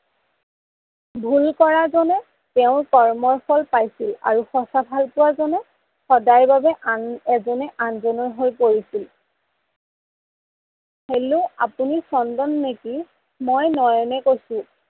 ভূল কৰা জনে তেওৰ কৰ্ম ফল পাইছিল আৰু সচা ভাল পোৱা জনে সদায় বাবে এজনে আনজনৰ হৈ পৰিছিল। hello আপুনি চন্দন নিকি মই নয়নে কৈছো